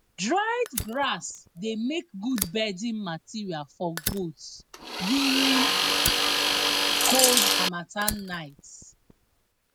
dried grass dey make good bedding material for goats during cold harmattan nights